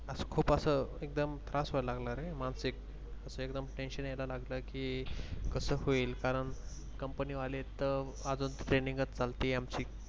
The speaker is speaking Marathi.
अस खूप अस एकदम त्रास व्हायला लागला रे मानसिक अस एकदम Tension यालला लागल की कस होईल कारण Company वाले त आजुन Training च चालतीय आमची